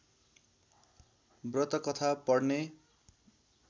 व्रतकथा पढ्ने